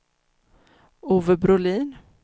Ove Brolin